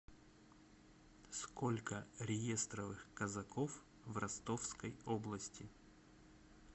сколько реестровых казаков в ростовской области